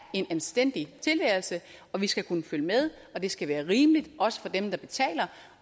en anstændig tilværelse og vi skal kunne følge med og det skal være rimeligt også for dem der betaler